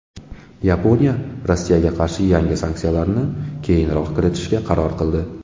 Yaponiya Rossiyaga qarshi yangi sanksiyalarni keyinroq kiritishga qaror qildi.